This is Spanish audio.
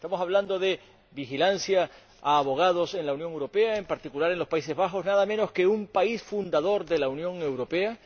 Estamos hablando de vigilancia a abogados en la Unión Europea, en particular en los Países Bajos, nada menos que un país fundador de la Unión Europea.